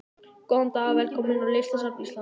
Góðan dag. Velkomin á Listasafn Íslands.